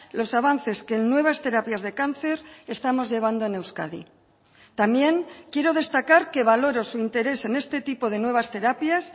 los avances que en nuevas terapias de cáncer estamos llevando en euskadi también quiero destacar que valoro su interés en este tipo de nuevas terapias